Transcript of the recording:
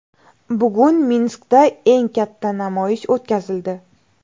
Bugun Minskda eng katta namoyish o‘tkazildi .